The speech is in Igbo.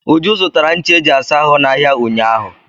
Uju zụtara ncha eji asa ahụ n'ahịa ụnyaahụ.